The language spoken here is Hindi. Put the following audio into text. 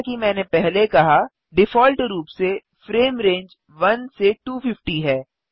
जैसा कि मैंने पहले कहा डिफ़ॉल्ट रूप से फ्रेम रेंज 1 से 250 है